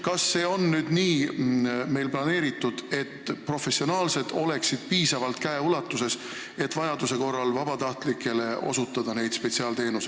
Kas see on meil nii planeeritud, et professionaalsed päästjad on piisavalt lähedal käeulatuses, et vajaduse korral säärast spetsiaalabi osutada?